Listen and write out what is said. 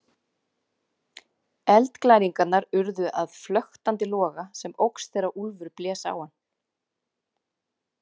Eldglæringarnar urðu að flöktandi loga sem óx þegar Úlfur blés á hann.